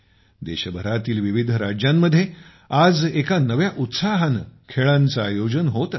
देशभरातील विविध राज्यांमध्ये आज एका नव्या उत्साहाने खेळांचे आयोजन होत असते